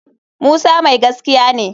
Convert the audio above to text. Musa mai gaskiya ne